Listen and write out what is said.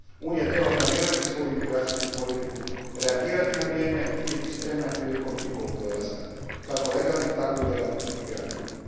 Unija treba planirati svoju imigracijsku politiku, reagirati na vrijeme i biti spremna prilikom njihovog dolaska, kako legalnih tako i ilegalnih migranata.